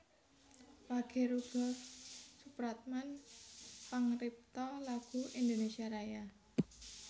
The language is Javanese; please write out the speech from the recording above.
Wage Rudolf Supratman Pangripta lagu Indonésia Raya